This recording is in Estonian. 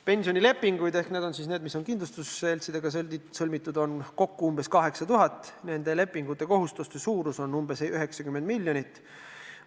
Pensionilepinguid – need on need, mis on sõlmitud kindlustusseltsidega – on kokku umbes 8000, nende lepingute kohustuste suurus on umbes 90 miljonit.